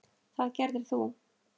Það gerðir þú.